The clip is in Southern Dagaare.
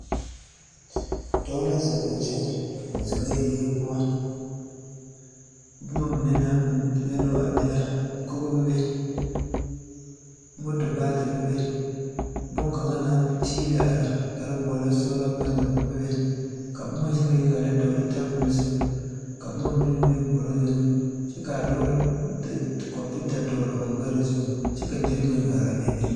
Dɔɔ ziŋɛɛ la a pɛgle kɔmpiita ka a kɔmpiita e sɔglaa. A dɔɔ kpuree waa la sɔglaa kyɛ ka o lɔɔteɛ meŋ waa dɔre. kyɛ ka o ziŋ bonŋdɔɔre zu. Siŋkããfa ane sola meŋ biŋ la a be.